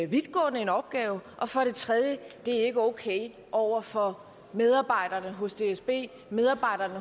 vidtgående en opgave og for det tredje det er ikke okay over for medarbejderne hos dsb medarbejderne